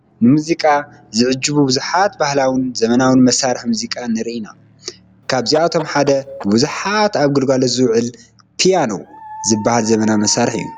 ንሙዚቃ ዝዕጅቡ ብዙሓት ባህላውን ዘመናውን መሳርሒ ሙዚቃ ንርኢ ኢና፡፡ ካብዚኣቶም ሓደ ብብዙሓት ኣብ ግልጋሎት ዝውዕል ፒያኖ ዝበሃል ዘመናዊ መሳርሒ እዩ፡፡